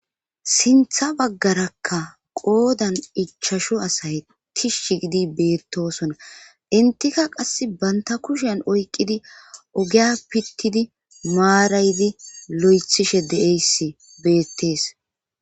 Sintha baggarakka qoodan ichashu asay tishsh gidi beettosona intika qass banta kushen oyqqidi ogiya pittidi maaraydi lo'ethishe deeyssi beettees